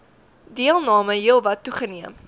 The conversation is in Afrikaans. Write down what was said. deelname heelwat toegeneem